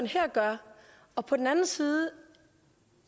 her gør og på den anden side